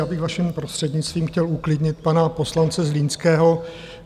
Já bych, vaším prostřednictvím, chtěl uklidnit pana poslance Zlínského.